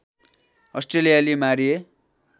अस्ट्रेलियाली मारिए